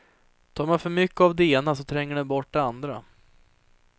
Tar man för mycket av det ena, så tränger den bort det andra.